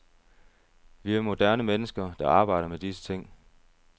Vi er moderne mennesker, der arbejder med disse ting.